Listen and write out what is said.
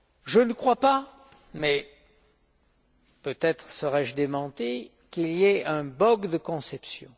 Je ne crois pas, mais peut être serai je démenti, qu'il y ait un bug de conception.